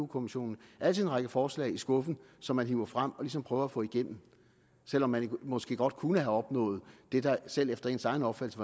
kommissionen altid en række forslag i skuffen som man hiver frem og ligesom prøver at få igennem selv om man måske godt kunne have opnået det der selv efter ens egen opfattelse